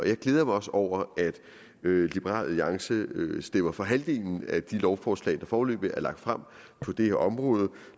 jeg glæder mig også over at liberal alliance stemmer for halvdelen af de lovforslag der foreløbig er lagt frem på det her område